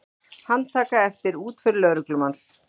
Handtaka eftir útför lögreglumanns